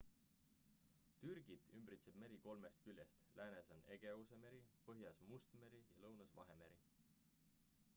türgit ümbritseb meri kolmest küljest läänes on egeuse meri põhjas must meri ja lõunas vahemeri